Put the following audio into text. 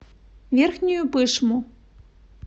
верхнюю пышму